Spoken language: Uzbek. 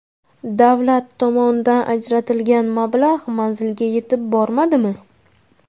Davlat tomonidan ajratilgan mablag‘ manzilga yetib bormadimi?